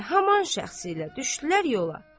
Və həmin şəxsiylə düşdülər yola.